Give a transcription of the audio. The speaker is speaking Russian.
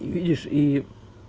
видишь и